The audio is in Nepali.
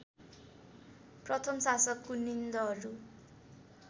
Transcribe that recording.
प्रथम शासक कुनिन्दहरू